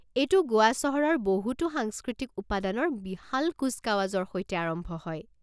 এইটো গোৱা চহৰৰ বহুতো সাংস্কৃতিক উপাদানৰ বিশাল কুচকাৱাজৰ সৈতে আৰম্ভ হয়।